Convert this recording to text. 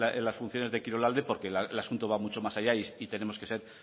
en las funciones de kirolalde porque el asunto va mucho más allá y tenemos que ser